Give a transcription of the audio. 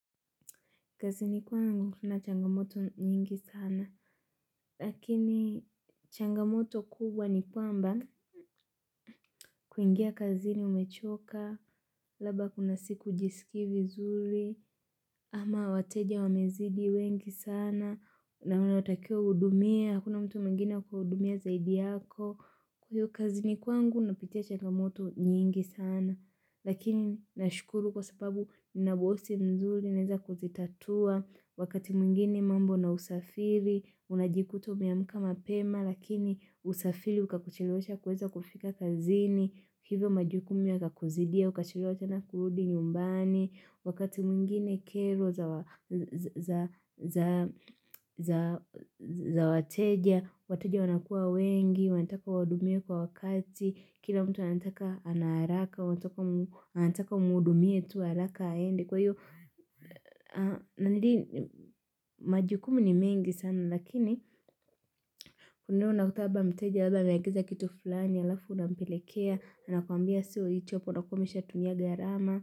Kazini kwangu kuna changamoto nyingi sana. Lakini changamoto kubwa ni kwamba kuingia kazini umechoka. Labda kuna siku hujisiiki vizuri. Ama wateja wamezidi wengi sana. Na unatakiwa hudumia. Hakuna mtu mwingine wa kuhudumia zaidi yako. Hiyo kazini kwangu napitia changamoto nyingi sana. Lakini nashukuru kwa sababu nina bosi mzuri. Tunaeza kuzitatua, wakati mwingine mambo na usafiri, unajikuta umeamka mapema, lakini usafiri ukakuchelewesha kuweza kufika kazini, hivyo majukumu yakakuzidia, ukachelewa tena kuludi nyumbani, wakati mwingine kero za wateja, wateja wanakua wengi, wanataka uwahudumie kwa wakati, kila mtu anataka ana haraka, wanataka umhudumia tu haraka aende. Kwa hiyo, na nili majukumu ni mingi sana lakini kunao na kutaba mteja, alaba mayangiza kitu fulani, alafu na mpelekea na nakuambia siyo, yichopo na kumisha tuniaga ya rama.